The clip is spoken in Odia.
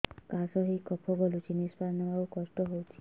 କାଶ ହେଇ କଫ ଗଳୁଛି ନିଶ୍ୱାସ ନେବାକୁ କଷ୍ଟ ହଉଛି